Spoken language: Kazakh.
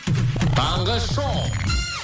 таңғы шоу